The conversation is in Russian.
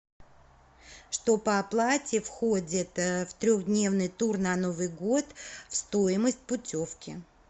что по оплате входит в трехдневный тур на новый год в стоимость путевки